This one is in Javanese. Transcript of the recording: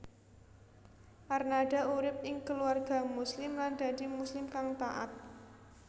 Arnada urip ing keluarga Muslim lan dadi Muslim kang taat